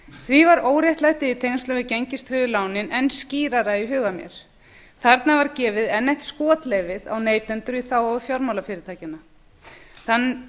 því var óréttlætið í tengslum við gengistryggðu lánin enn skýrara í huga mér þarna var gefið enn eitt skotleyfið á neytendur í þágu fjármálafyrirtækjanna